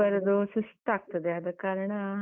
ಬರುದು ಸುಸ್ತಾಗದೆ, ಆದ ಕಾರಣ.